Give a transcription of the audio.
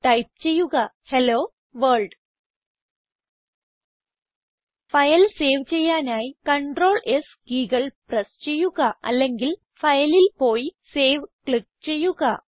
type ചെയ്യുക hello world file save ചെയ്യാനായി CrtlS കീകൾ പ്രസ് ചെയ്യുക അല്ലെങ്കിൽ Fileൽ പോയി സേവ് ക്ലിക്ക് ചെയ്യുക